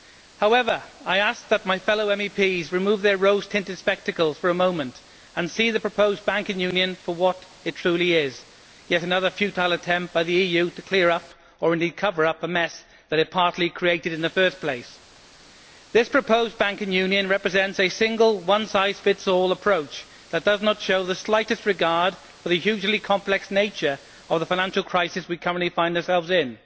However, I ask that my fellow MEPs remove their rose tinted spectacles for a moment and see the proposed banking union for what it truly is yet another futile attempt by the EU to clear up or indeed cover up a mess that it partly created in the first place. This proposed banking union represents a single one size fits all approach that does not show the slightest regard for the hugely complex nature of the financial crisis we currently find ourselves in.